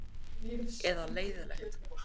Eða leiðinlegt?